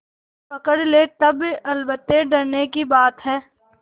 पकड़ ले तब अलबत्ते डरने की बात है